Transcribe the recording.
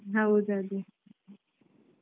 ಹ್ಮ್ ಹೌದು ಅದೇ